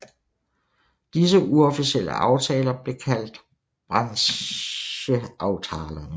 Disse uofficielle aftaler blev kaldt bransjeavtalene